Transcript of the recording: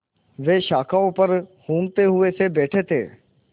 वे शाखाओं पर ऊँघते हुए से बैठे थे